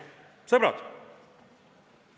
Sõbrad!